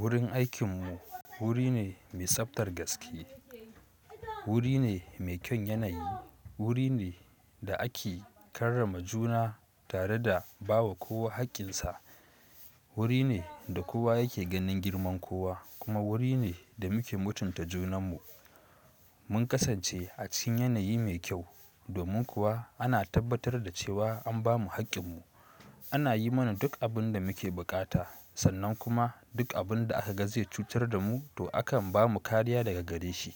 Wurin aikinmu wuri ne mai tsaftar gaske, wuri ne mai kyaun yanayi, wuri ne da ake karrama juna tare da bawa kowa haƙƙinsa. Wuri ne da kowa yake ganin girman kowa kuma wuri ne da muke mutunta junanmu. Mun kasance a cikin yanayi mai kyau domin kuwa ana tabbatar da cewa an bamu haƙƙinmu. Ana yi mana duk abin da muke buƙata sannan kuma duk abin da aka ga zai cutar da mu to akan bamu kariya daga gare shi.